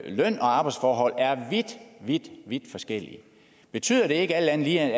løn og arbejdsforhold er vidt vidt forskellige betyder det ikke alt andet lige